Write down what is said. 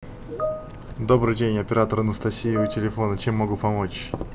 добрый день оператор анастасия у телефона чем могу помочь